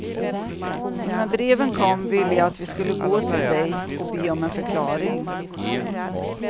Så när breven kom ville jag att vi skulle gå till dig och be om en förklaring.